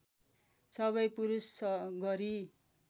सबै पुरूष गरी